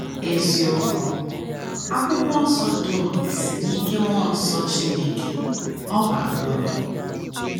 Eziokwu: “ Akwụkwọ Nsọ dum si n’ike mmụọ nsọ Chineke, ọ bara uru. ”